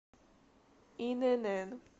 инн